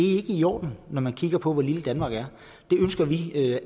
er ikke i orden når man kigger på hvor lille danmark er det ønsker vi